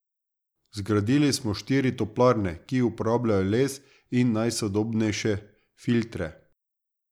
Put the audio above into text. Zgradili smo štiri toplarne, ki uporabljajo les in najsodobnejše filtre.